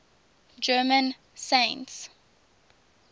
german saints